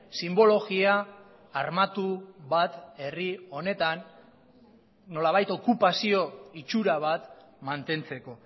sinbologia armatu bat herri honetan nolabait okupazio itxura bat mantentzeko